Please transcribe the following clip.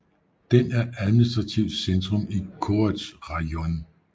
Den er administrativt centrum i Korets rajon